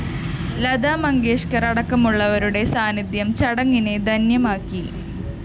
ലതാ മങ്കേഷ്‌കര്‍ അടക്കമുള്ളവരുടെ സാന്നിധ്യം ചടങ്ങിനെ ധന്യമാക്കി